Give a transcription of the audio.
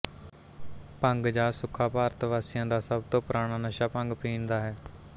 ਭੰਗ ਜਾਂ ਸੁੱਖਾਭਾਰਤ ਵਾਸੀਆਂ ਦਾ ਸਭ ਤੋਂ ਪੁਰਾਣਾ ਨਸ਼ਾ ਭੰਗ ਪੀਣ ਦਾ ਹੈ